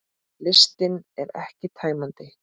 Listinn er ekki tæmandi